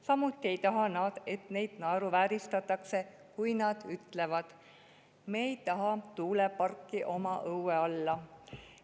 Samuti ei taha nad, et neid naeruvääristatakse, kui nad ütlevad: "Me ei taha tuuleparki oma õue alla.